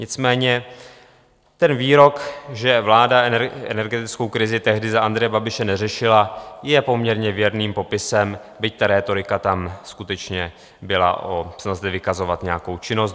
Nicméně ten výrok, že vláda energetickou krizi tehdy za Andreje Babiše neřešila, je poměrně věrným popisem, byť ta rétorika tam skutečně byla, snaha zde vykazovat nějakou činnost.